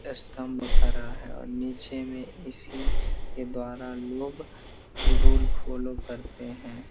स्तंभ खड़ा है और नीचे में इसी के द्वारा लोग रुल फॉलो करते हैं।